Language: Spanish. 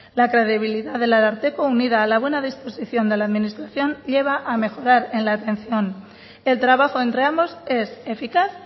la credibilidad del ararteko unida a la buena disposición de la administración lleva a mejorar en la atención el trabajo entre ambos es eficaz